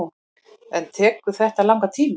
En tekur þetta langan tíma.